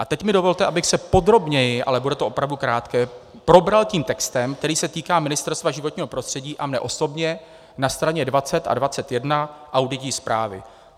A teď mi dovolte, abych se podrobněji - ale bude to opravdu krátké - probral tím textem, který se týká Ministerstva životního prostředí a mě osobně na straně 20 a 21 auditní zprávy.